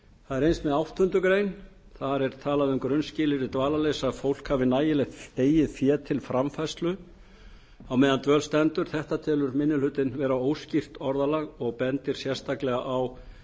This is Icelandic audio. það er eins með áttundu greinar þar er talað um að grunnskilyrði dvalarleyfis sé að fólk hafi nægilegt eigið fé til framfærslu meðan á dvölinni stendur þetta telur minni hlutinn vera óskýrt orðalag og bendir sérstaklega á